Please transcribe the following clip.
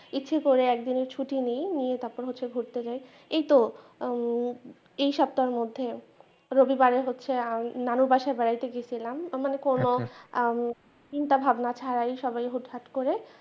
ইচ্ছা করে একদিনের ছুটিনি নিয়ে তারপরে হচ্ছে ঘুরতে যাই এইতো এই সপ্তাহের মধ্যে রবিবার হচ্ছে নানুর বাসায় বেড়াতে গেয়েছিলাম মানে কোনো চিন্তা ভাবনা ছাড়াই সবাই হুটহাট করে।